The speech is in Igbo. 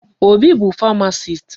Obi bụ pharmacist.